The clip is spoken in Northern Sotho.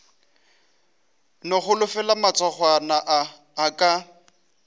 no holofela matsogwana a aka